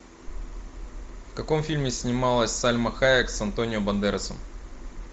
в каком фильме снималась сальма хайек с антонио бандерасом